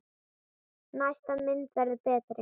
Næsta mynd verður betri!